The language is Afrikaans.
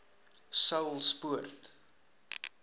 saulspoort